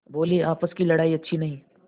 बोलेआपस की लड़ाई अच्छी नहीं